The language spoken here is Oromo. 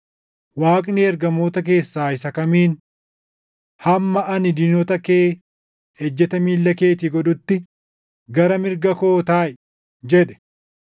Waaqni ergamoota keessaa isa kamiin, “Hamma ani diinota kee ejjeta miilla keetii godhutti, gara mirga koo taaʼi” + 1:13 \+xt Far 110:1\+xt* jedhe?